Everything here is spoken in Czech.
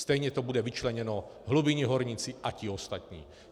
Stejně to bude vyčleněno hlubinní horníci a ti ostatní.